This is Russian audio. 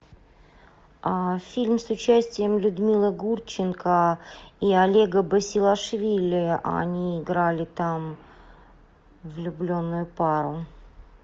фильм с участием людмилы гурченко и олега басилашвили они играли там влюбленную пару